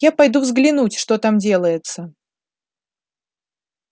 я пойду взглянуть что там делается